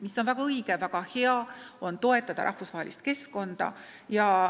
See on väga õige – väga vajalik on toetada rahvusvahelist keskkonda.